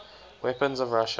weapons of russia